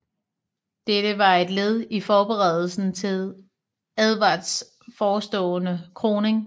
Dette var et led i forberedelsen til Edvards forestående kroning